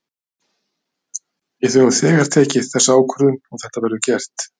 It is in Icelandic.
Við höfum þegar tekið þessa ákvörðun og þetta verður gert.